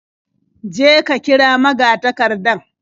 Je ka kira magatakardan.